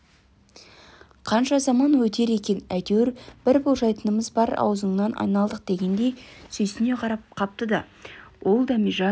қанша заман өтер екен әйтеуір бір болжайтынымыз бар аузыңнан айналдық дегендей сүйсіне қарап қапты ол дәмежан